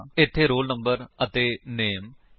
ਇਹ ਫੀਲਡ ਬਿਨਾਂ static keyword ਦੇ ਘੋਸ਼ਿਤ ਹੁੰਦੇ ਹਨ